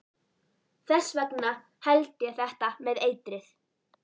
Þess vegna held ég þetta með eitrið.